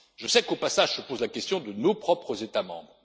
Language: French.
plus loin. Je sais qu'au passage se pose la question de nos propres